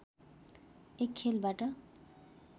एक खेलबाट